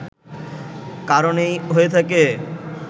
কারণে হয়ে থাকে